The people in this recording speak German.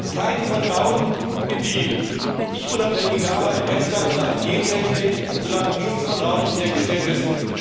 Es gibt kein Vertrauen in die wirklich unabhängige Arbeit der EFSA in Sachen Gentechnik, und solange dieses Vertrauen nicht hergestellt ist,